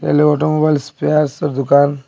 এ হলো অটোমোবাইল স্পেয়ার্সের দুকান।